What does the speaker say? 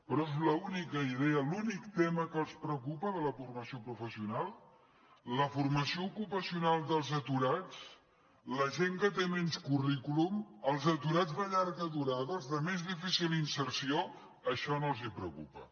però és l’única idea l’únic tema que els preocupa de la formació professional la formació ocupacional dels aturats la gent que té menys currículum els aturats de llarga durada els de més difícil inserció això no els preocupa